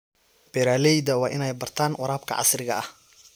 Beeralayda waa inay bartaan waraabka casriga ah.